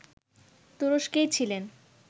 তুরস্কেই ছিলেন